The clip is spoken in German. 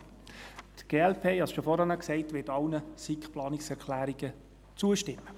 Die glp – ich habe es schon vorhin gesagt – wird allen SiK-Planungserklärungen zustimmen.